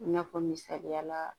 I n'a fɔ misaliya la